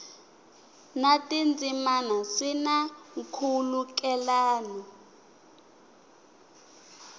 na tindzimana swi na nkhulukelano